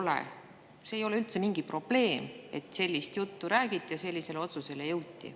See ei oleks nagu üldse mingi probleem, kui te sellist juttu räägite ja sellisele otsusele jõuti.